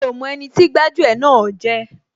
Mi ò mọ ẹni tí gbájú ẹ̀ náà jẹ́